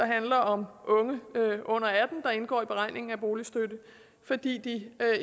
handler om unge under atten der indgår i beregningen af boligstøtte fordi de